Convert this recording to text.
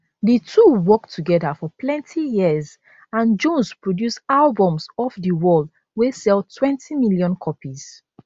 di two work togeda for plenty years and jones produce albums off di wall wey selltwentymillion copies